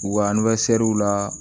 U ka la